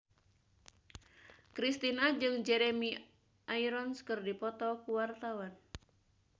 Kristina jeung Jeremy Irons keur dipoto ku wartawan